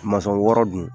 wɔɔrɔ dun